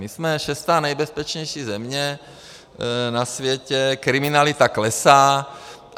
My jsme šestá nejbezpečnější země na světě, kriminalita klesá.